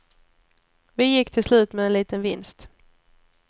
Vi gick till slut med en liten vinst.